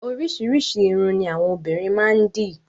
Oríṣiríṣi ìrún ni àwọn obìnrin máa ń dì.